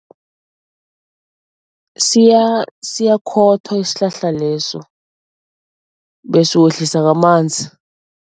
Siyakhothwa isihlahla leso bese uwehlisa ngamanzi.